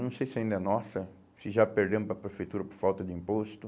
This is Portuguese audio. Não sei se ainda é nossa, se já perdemos para a prefeitura por falta de imposto.